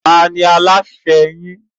Ta ni alasẹ́ yín?